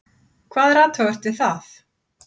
Hvað er athugavert við það?